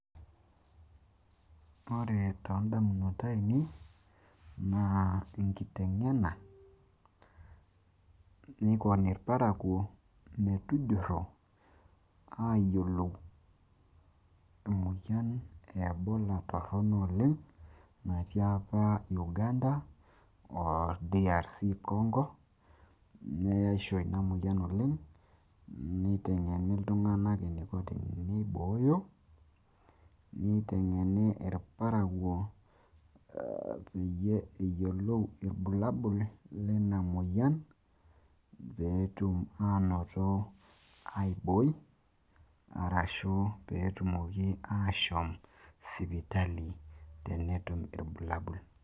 ore too damunot aainei naa enkitengena ,aaliki irparakuo emoyian torono oleng ebola apa natii uganda.oo rc congo neyeisho ina moyian oleng, neitengeni iltunganak eneiko teneibooyo, nelikini irparakuo irbulabol leina moyian pee etum aibooi ashu epuo sipitali tenetum irbulabol.